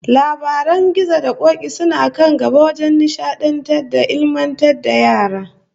Labaran gizo da k'ok'i suna kan gaba wajen nishadantar da ilmantar da yara